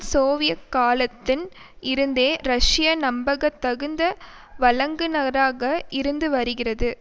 Soviet காலத்தின் இருந்தே Russia நம்பகத்தகுந்த வழங்குநராக இருந்து வருகிறது